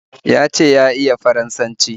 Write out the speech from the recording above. Ya ce ya iya Faransanci